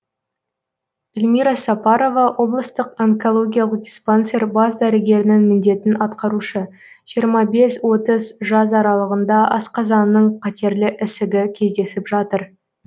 эльмира сапарова облыстық онкологиялық диспансер бас дәрігерінің міндетін атқарушы жиырма бес отыз жас аралығында асқазанның қатерлі ісігі кездесіп жатыр